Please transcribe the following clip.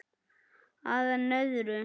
Að enn öðru.